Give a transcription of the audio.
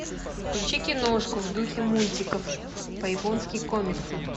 включи киношку в духе мультиков по японским комиксам